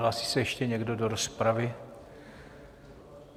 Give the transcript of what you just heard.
Hlásí se ještě někdo do rozpravy?